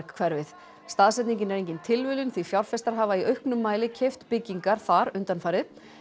hverfið staðsetningin var engin tilviljun því fjárfestar hafa í auknum mæli keypt byggingar þar undanfarið